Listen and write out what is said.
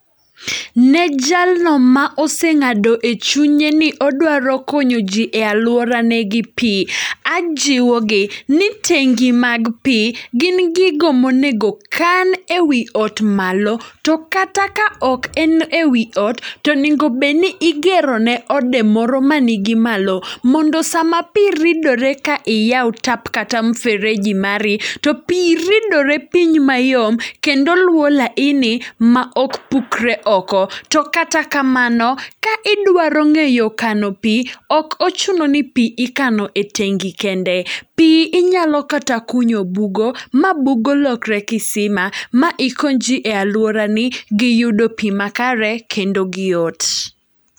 Ne jalno ma oseng'ado e chunye ni odwaro konyo ji e alwora ne gi pi, ajiwo gi ni tengi mag pi gin gigo monego kan ewi ot malo. To kata ka ok en ewi ot, tonegobedni igero ne ode moro ma nigi malo. Mondo sama pi ridore ka iyawo tap kata mfereji mari, to pi ridore piny mayom kendo luwo laini ma ok pukre oko. To kata kamano, ka idwaro ng'eyo kano pi, ok ochuno ni pi ikano e tengi kende. Pi inyalo kata kunyo bugo, ma bugo lokre kisima, ma ikony ji e alwora ni gi yudo pi ma kare kendo gi yot.